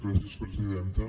gràcies presidenta